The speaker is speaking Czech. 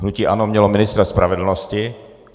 Hnutí ANO mělo ministra spravedlnosti.